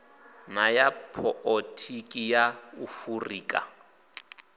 na ya poḽotiki ya afurika